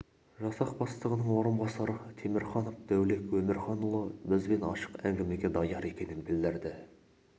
жасақ бастығының орынбасары темірханов дәулет өмірханұлы бізбен ашық әңгімеге даяр екенін білдірді